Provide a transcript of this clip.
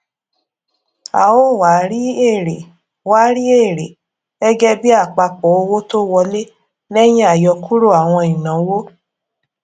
a ó wá rí èrè wá rí èrè gẹgẹbí àpapọ owó tó wọlé lẹyìn àyọkúrò àwọn ìnáwó